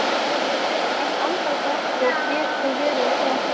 Sérhver andardráttur getur verið sá síð